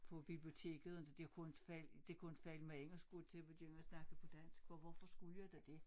På biblioteket det kunne inte falde det kunne inte falde mig ind at skulle til at begynde at snakke på dansk for hvorfor skulle jeg da det